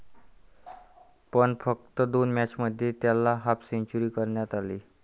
पण फक्त दोन मॅचमध्ये त्याला हाफसेंच्युरी करता आली.